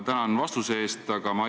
Tänan vastuse eest!